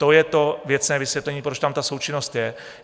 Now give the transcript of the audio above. To je to věcné vysvětlení, proč tam ta součinnost je.